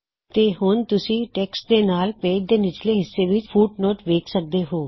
ਤੇ ਹੁਣ ਤੁਸੀ ਟੈੱਕਸਟ ਦੇ ਨਾਲ ਪੇਜ ਦੇ ਨਿਚਲੇ ਹਿੱਸੇ ਵਿੱਚ ਫੁਟਨੋਟ ਵੇਖ ਸਕਦੇ ਹੋਂ